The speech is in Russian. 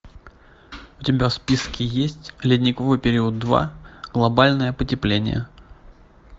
у тебя в списке есть ледниковый период два глобальное потепление